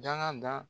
Daga da